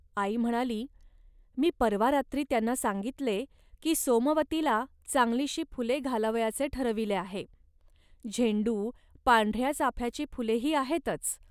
आई म्हणाली, "मी परवा रात्री त्यांना सांगितले, की सोमवतीला चांगलीशी फुले घालावयाचे ठरविले आहे. झेंडू, पांढऱ्या चाफ्याची फुले ही आहेतच